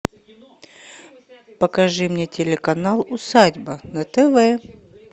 покажи мне телеканал усадьба на тв